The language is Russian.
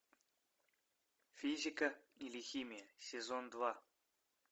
физика или химия сезон два